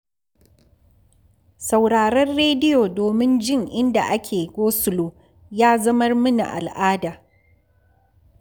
Sauraron rediyo domin jin inda ake gosulo ya zamar mini al'ada